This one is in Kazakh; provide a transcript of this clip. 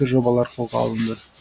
жобалар қолға алынды